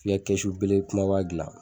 I ka kɛsu kumaba gilan